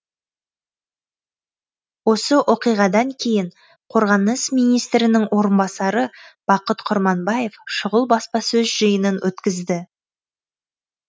осы оқиғадан кейін қорғаныс министрінің орынбасары бақыт құрманбаев шұғыл баспасөз жиынын өткізді